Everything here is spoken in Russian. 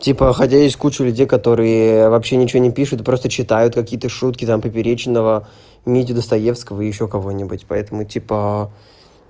типа хотя есть куча людей которые вообще ничего не пишут просто читают какие-то шутки там поперечного митю достоевского ещё кого-нибудь поэтому типа